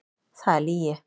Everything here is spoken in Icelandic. Það er lygi!